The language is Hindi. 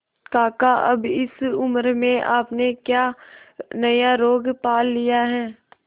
काका अब इस उम्र में आपने क्या नया रोग पाल लिया है